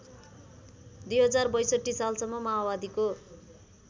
२०६२ सालसम्म माओवादीको